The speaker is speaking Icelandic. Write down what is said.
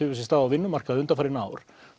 sér stað á vinnumarkaði undanfarin ár